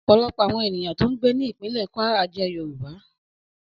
Ọ̀pọ̀lọpọ̀ àwọn ènìyàn tó ń gbé ní ìpínlè Kwara jẹ́ Yorùbá